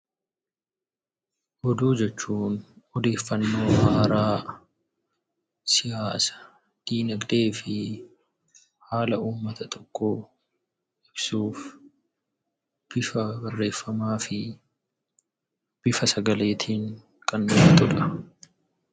Oduu jechuun odeeffannoo haaraa, siyaasa, dinagdee fi haala uummata tokkoo ibsuuf bifa barreeffamaa fi bifa sagaleetiin kan gargaarudha.